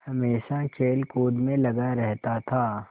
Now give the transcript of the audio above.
हमेशा खेलकूद में लगा रहता था